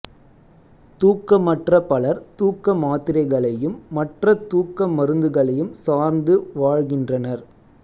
தூக்கமற்ற பலர் தூக்க மாத்திரைகளையும் மற்ற தூக்க மருந்துகளையும் சார்ந்து வாழ்கின்றனர்